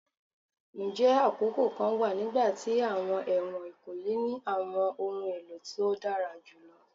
Njẹ akoko kan wa nigbati awọn ẹwọn ikoyi ni awọn ohun elo to dara julọ?